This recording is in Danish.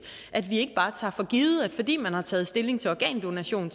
at vi ikke bare tager for givet at fordi man har taget stilling til organdonation